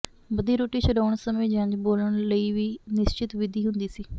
ਬੱਧੀ ਰੋਟੀ ਛੁਡਾਉਣ ਸਮੇਂ ਜੰਞ ਬੋਲਣ ਲਈ ਵੀ ਨਿਸ਼ਚਿਤ ਵਿਧੀ ਹੁੰਦੀ ਸੀ